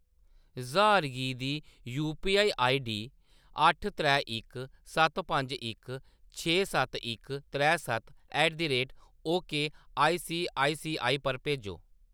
ज्हार गी दी यूपीआई आईडी अट्ठ त्रै इक सत्त पंज इक छे सत्त इक त्रै सत्त at the rate okay ICICI पर भेजो।